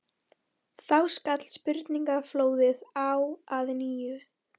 Þá skall spurningaflóðið á að nýju.